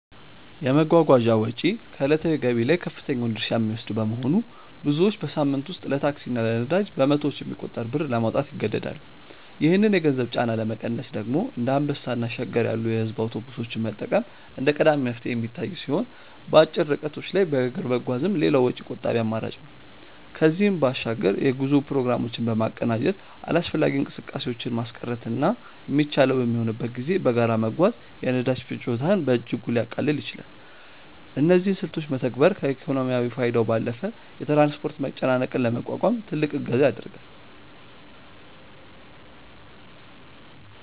የመጓጓዣ ወጪ ከዕለታዊ ገቢ ላይ ከፍተኛውን ድርሻ የሚወስድ በመሆኑ፣ ብዙዎች በሳምንት ውስጥ ለታክሲ እና ለነዳጅ በመቶዎች የሚቆጠር ብር ለማውጣት ይገደዳሉ። ይህንን የገንዘብ ጫና ለመቀነስ ደግሞ እንደ አንበሳ እና ሸገር ያሉ የሕዝብ አውቶቡሶችን መጠቀም እንደ ቀዳሚ መፍትሄ የሚታይ ሲሆን፣ በአጭር ርቀቶች ላይ በእግር መጓዝም ሌላው ወጪ ቆጣቢ አማራጭ ነው። ከዚህም በባሻግር የጉዞ ፕሮግራሞችን በማቀናጀት አላስፈላጊ እንቅስቃሴዎችን ማስቀረትና የሚቻለው በሚሆንበት ጊዜ በጋራ መጓዝ የነዳጅ ፍጆታን በእጅጉ ሊያቃልል ይችላል። እነዚህን ስልቶች መተግበር ከኢኮኖሚያዊ ፋይዳው ባለፈ የትራንስፖርት መጨናነቅን ለመቋቋም ትልቅ እገዛ ያደርጋል።